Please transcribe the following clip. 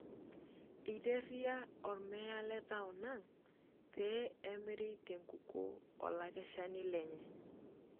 Eiteria olmeya letaon ang pee emiri tenkukuo olakeshani lenye.